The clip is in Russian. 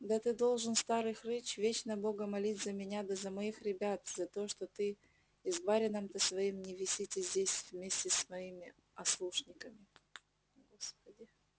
да ты должен старый хрыч вечно бога молить за меня да за моих ребят за то что ты и с барином-то своим не висите здесь вместе с моими ослушниками